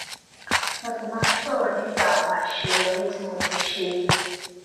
mo sì máa ń sòrò nípa àwọn àṣeyọrí tí mo ti ṣe